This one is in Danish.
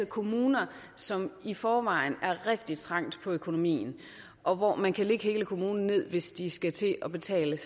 kommuner som i forvejen er rigtig trængte på økonomien og hvor man kan lægge hele kommunen ned hvis de selv skal til at betale